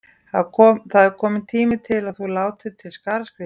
Það er kominn tími til að þú látir til skarar skríða.